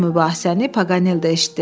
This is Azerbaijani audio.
mübahisəni Paqaneldə eşitdi.